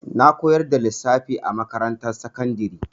Na koyar da lissafi a makarantar sakandari.